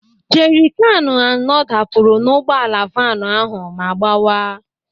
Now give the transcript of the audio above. Jerikánù anọ dapụrụ n'ụgbọala vaanu ahụ ma gbawa.